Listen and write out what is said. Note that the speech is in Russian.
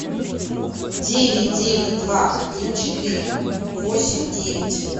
девять девять два один четыре восемь девять